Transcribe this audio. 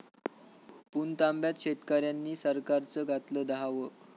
पुणतांब्यात शेतकऱ्यांनी सरकारचं घातलं दहावं